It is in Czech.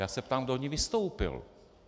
Já se ptám, kdo v ní vystoupil.